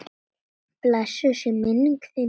Blessuð sé minning þín!